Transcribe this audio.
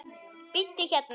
Bíddu hérna.